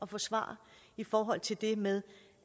forsvare i forhold til det med